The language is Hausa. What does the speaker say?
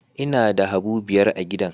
Ina da habu biyar a gidan